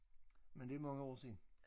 Men det mange år siden